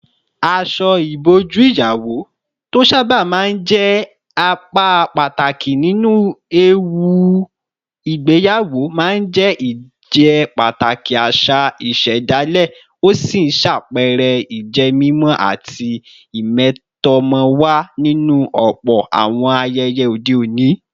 Aṣọ ìbòjú ìyàwó, tó sábà máa ń jẹ́ apá pàtàkì nínú ẹ̀wù ìgbéyàwó, máa ń jẹ́ ìjẹ́pàtàkì àṣà ìṣẹ̀dálẹ̀, ó sì ń ṣàpẹẹrẹ ìjẹ́mímọ́ àti ìmẹ̀tọ́mọ̀wà nínú ọ̀pọ̀ àwọn ayẹyẹ òde òní.